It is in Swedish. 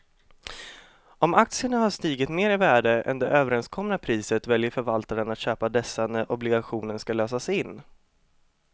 Om aktierna har stigit mer i värde än det överenskomna priset väljer förvaltaren att köpa dessa när obligationen ska lösas in.